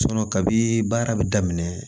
kabi baara bɛ daminɛ